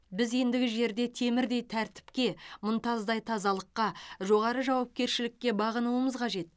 біз ендігі жерде темірдей тәртіпке мұнтаздай тазалыққа жоғары жауапкершілікке бағынуымыз қажет